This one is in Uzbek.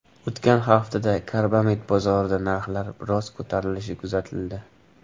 O‘tgan haftada karbamid bozorida narxlar biroz ko‘tarilishi kuzatildi.